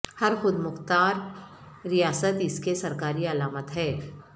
ہر خود مختار ریاست اس کے سرکاری علامات ہے